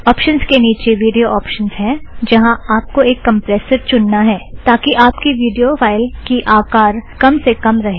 options के नीचे video options है जहाँ आप को एक कम्प्रेसर चुनना है ताकि आप की विड़ियो फ़ाइल की आकर कम से कम रहें